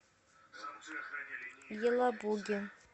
елабуге